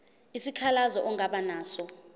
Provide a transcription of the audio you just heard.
isikhalazo ongaba naso